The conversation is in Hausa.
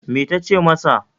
Me ta ce masa?